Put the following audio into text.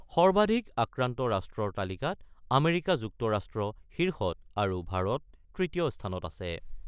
সৰ্বাধিক আক্ৰান্ত ৰাষ্ট্ৰৰ তালিকাত আমেৰিকা যুক্তৰাষ্ট্ৰ শীৰ্ষত আৰু ভাৰত তৃতীয় স্থানত আছে।